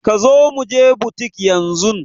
Kazo muje butik yanzun